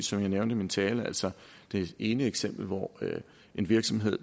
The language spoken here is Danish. som jeg nævnte i min tale altså det ene eksempel hvor en virksomhed